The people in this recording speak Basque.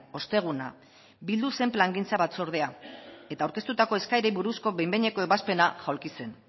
osteguna bildu zen plangintza batzordea eta aurkeztutako eskaerei buruzko behin behineko ebazpena jaulki zen